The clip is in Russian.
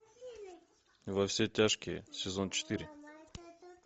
во все тяжкие сезон четыре